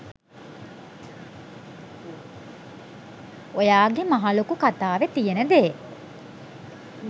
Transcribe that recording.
ඔයා ගෙ මහ ලොකු කතාවෙ තියෙන දේ